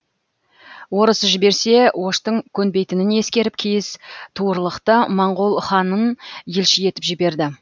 орыс жіберсе оштың көнбейтінін ескеріп киіз туырлықты моңғол ханын елші етіп жіберді